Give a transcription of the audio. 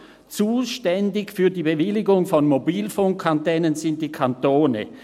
«Zuständig für die Bewilligung von Mobilfunkanlagen sind die Kantone.